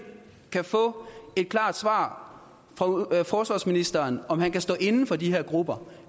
kan få et klart svar fra forsvarsministeren på om han kan stå inde for de her grupper